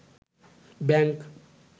bank